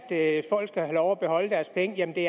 at folk skal have lov at beholde deres penge jamen det